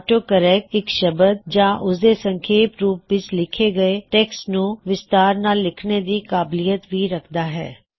auto correct ਇੱਕ ਸ਼ਬਦ ਜਾਂ ਉਸਦੇ ਸੰਖੇਪ ਰੂਪ ਵਿੱਚ ਲਿੱਖੇ ਹੋਏ ਟੈਕ੍ਸਟ ਨੂੰ ਵਿਸਤਾਰ ਨਾਲ ਲਿੱਖਣੇ ਦੀ ਕਾਬਲੀਅਤ ਭੀ ਰੱਖਦਾ ਹੈ